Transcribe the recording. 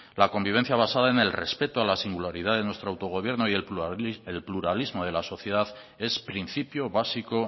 la convivencia basada en el respeto a la singularidad de nuestro autogobierno y el pluralismo de la sociedad es principio básico